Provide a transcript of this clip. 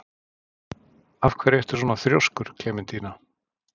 Af hverju ertu svona þrjóskur, Klementína?